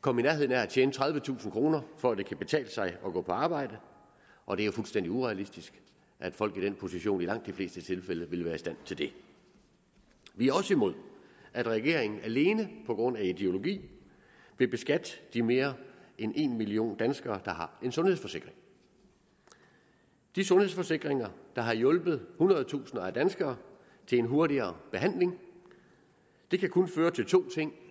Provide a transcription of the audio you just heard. komme i nærheden af at tjene tredivetusind kroner om for at det kan betale sig at gå på arbejde og det er fuldstændig urealistisk at folk i den position i langt de fleste tilfælde vil være i stand til det vi er også imod at regeringen alene på grund af ideologi vil beskatte de mere end en million danskere der har en sundhedsforsikring de sundhedsforsikringer der har hjulpet hundrede tusinder af danskere til en hurtigere behandling det kan kun føre til to ting